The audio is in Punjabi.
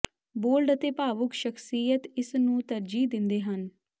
ਬੋਲਡ ਅਤੇ ਭਾਵੁਕ ਸ਼ਖ਼ਸੀਅਤ ਇਸ ਨੂੰ ਤਰਜੀਹ ਦਿੰਦੇ ਹਨ